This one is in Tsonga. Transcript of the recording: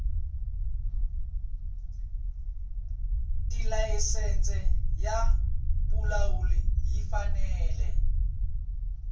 tilayisense ya vulawuli yi fanele